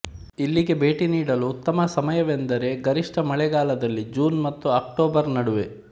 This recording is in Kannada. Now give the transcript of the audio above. ಇಲ್ಲಿಗೆ ಭೇಟಿ ನೀಡಲು ಉತ್ತಮ ಸಮಯವೆಂದರೆ ಗರಿಷ್ಠ ಮಳೆಗಾಲದಲ್ಲಿ ಜೂನ್ ಮತ್ತು ಅಕ್ಟೋಬರ್ ನಡುವೆ